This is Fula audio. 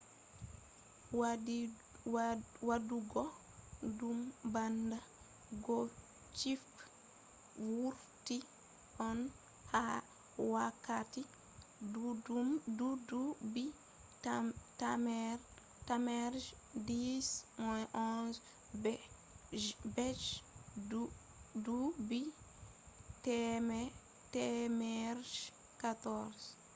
wadugo dum bana gothic vurti on ha wakkati duubi temere je 10 - 11 be je duubi temere je 14